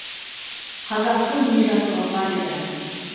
қазақтың не жазығы бар еді